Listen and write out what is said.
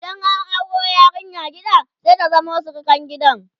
idan an auro yarinya gida sai ta zama surukar gidan